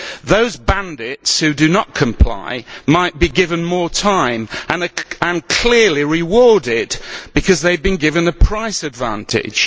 Those bandits who do not comply might be given more time and would be clearly rewarded because they would have been given a price advantage.